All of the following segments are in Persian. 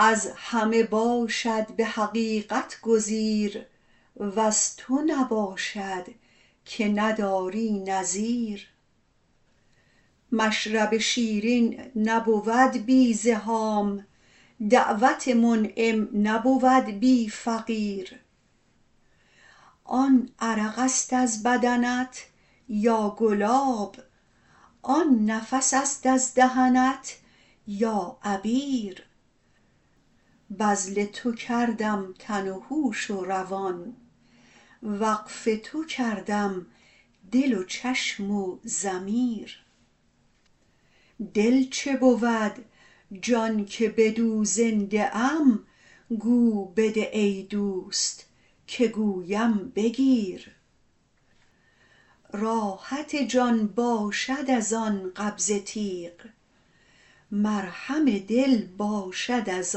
از همه باشد به حقیقت گزیر وز تو نباشد که نداری نظیر مشرب شیرین نبود بی زحام دعوت منعم نبود بی فقیر آن عرق است از بدنت یا گلاب آن نفس است از دهنت یا عبیر بذل تو کردم تن و هوش و روان وقف تو کردم دل و چشم و ضمیر دل چه بود جان که بدو زنده ام گو بده ای دوست که گویم بگیر راحت جان باشد از آن قبضه تیغ مرهم دل باشد از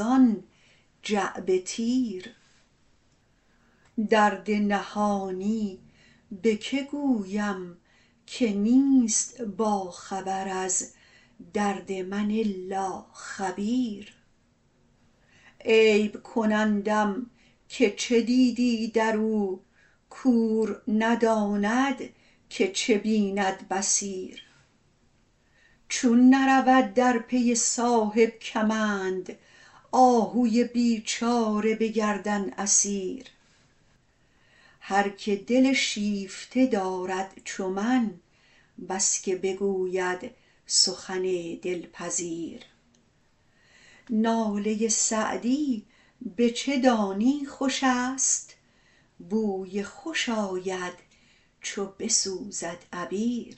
آن جعبه تیر درد نهانی به که گویم که نیست باخبر از درد من الا خبیر عیب کنندم که چه دیدی در او کور نداند که چه بیند بصیر چون نرود در پی صاحب کمند آهوی بیچاره به گردن اسیر هر که دل شیفته دارد چو من بس که بگوید سخن دلپذیر ناله سعدی به چه دانی خوش است بوی خوش آید چو بسوزد عبیر